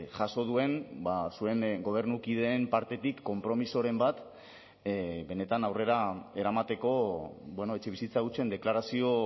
jaso duen zuen gobernukideen partetik konpromisoren bat benetan aurrera eramateko etxebizitza hutsen deklarazio